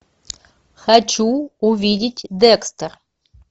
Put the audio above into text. хочу увидеть декстер